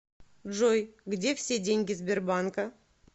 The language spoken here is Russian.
джой где все деньги сбербанка